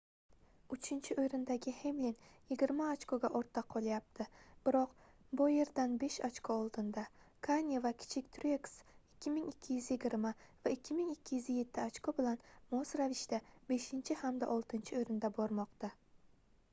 uchinchi oʻrindagi hemlin yigirma ochkoga ortda qolyapti biroq boyerdan besh ochko oldinda kane va kichik trueks 2220 va 2207 ochko bilan mos ravishda beshinchi hamda oltinchi oʻrinda bormoqda